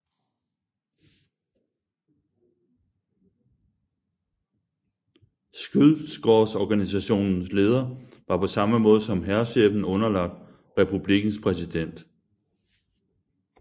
Skyddskårsorganisationens leder var på samme måde som hærchefen underlagt republikkens præsident